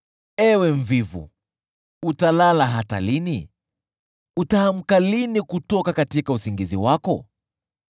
Ewe mvivu, utalala hata lini? Utaamka lini kutoka usingizi wako?